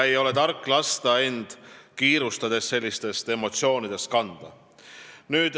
Ei ole tark lasta end kiirustades emotsioonidest kanda.